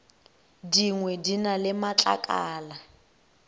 dingwe di na le matlakala